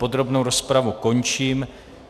Podrobnou rozpravu končím.